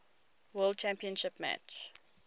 world championship match